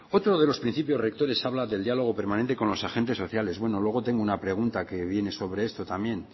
otro de los principios rectores habla del diálogo permanente con los agentes sociales bueno luego tengo una pregunta que viene sobre esto también